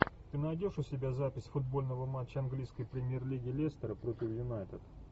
ты найдешь у себя запись футбольного матча английской премьер лиги лестера против юнайтед